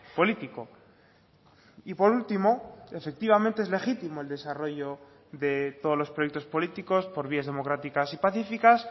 político y por último efectivamente es legítimo el desarrollo de todos los proyectos políticos por vías democráticas y pacíficas